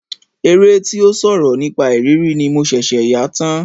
Eré tí ó sọ̀rọ̀ nípa ìrírí ni mo ṣẹ̀ṣẹ̀ yà tán.